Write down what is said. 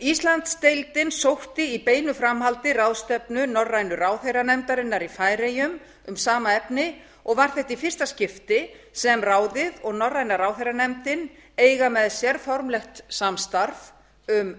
íslandsdeildin sótti í beinu framhaldi ráðstefnu norrænu ráðherranefndarinnar í færeyjum um sama efni og var þetta í fyrsta skipti sem ráðið og norræna ráðherranefndin eiga með sér formlegt samstarf um